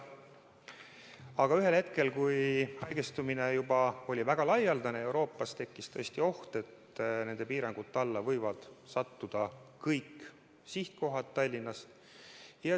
Aga ühel hetkel, kui haigestumine oli Euroopas juba väga laialdane, tekkis tõesti oht, et nende piirangute alla võivad sattuda kõik Tallinnast väljuvate lendude sihtkohad.